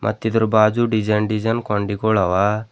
ಮತ್ ಇದರ ಬಾಜು ಡಿಸೈನ್ ಡಿಸೈನ್ ಕೊಂಡಿಗೊಳ ಅವ.